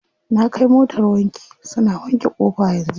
Na kai motar wanki, suna wanke ƙofa yanzu.